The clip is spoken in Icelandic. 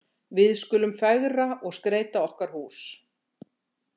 Við skulum fegra og skreyta okkar hús.